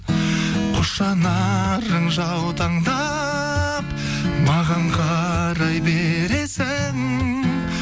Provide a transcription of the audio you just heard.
қос жанарың жаутаңдап маған қарай бересің